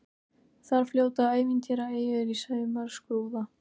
Þar fljóta ævintýraeyjur í sumarskrúða.